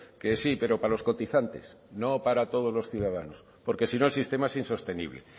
que sí pero para los cotizantes no para todos los ciudadanos porque si no el sistema es insostenible eh